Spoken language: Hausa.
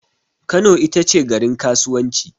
Kano itace garin kasuwanci